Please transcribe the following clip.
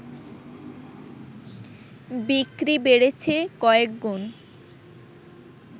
বিক্রি বেড়েছে কয়েকগুণ